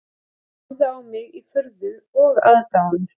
Hann horfði á mig í furðu og aðdáun